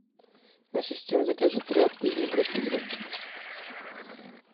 ассистент закажи тряпку из микрофибры